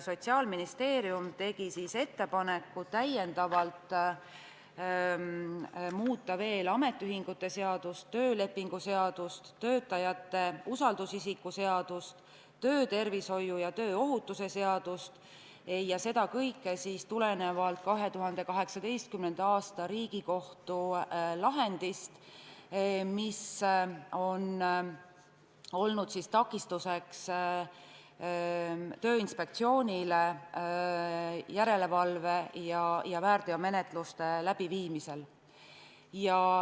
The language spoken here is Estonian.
Ministeerium tegi ettepaneku täiendavalt muuta veel ametiühingute seadust, töölepingu seadust, töötajate usaldusisiku seadust ning töötervishoiu ja tööohutuse seadust, ja seda siis tulenevalt 2018. aasta Riigikohtu lahendist, mis on olnud takistuseks Tööinspektsioonile järelevalve ja väärteomenetluse läbiviimisel.